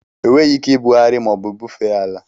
Enweghị ike ibugharị ma ọ bụ bufee ala.